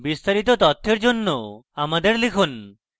বিস্তারিত তথ্যের জন্য আমাদের লিখুন